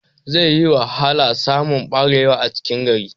Zai yi wahala samun barewa a cikin gari